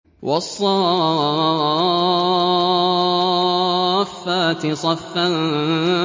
وَالصَّافَّاتِ صَفًّا